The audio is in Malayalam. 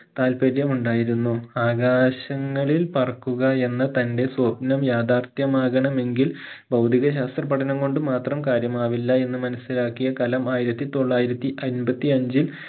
താല്പര്യം ഉണ്ടായിരുന്നു ആകാശങ്ങളിൽ പറക്കുക എന്ന തന്റെ സ്വപ്നം യാഥാർഥ്യം ആകണമെങ്കിൽ ഭൗതിക ശാസ്ത്രപഠനം കൊണ്ട് മാത്രം കാര്യമാവില്ല എന്ന് മനസിലാക്കിയ കലാം ആയിരത്തി തൊള്ളായിരത്തി അമ്പത്തിയഞ്ചിൽ